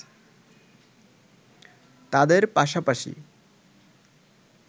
তাদের পাশাপাশি